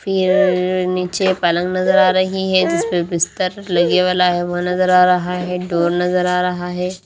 फिर नीचे पलंग नजर आ रही है जिस पे बिस्तर लगे वाला है वह नजर आ रहा है डोर नजर आ रहा है।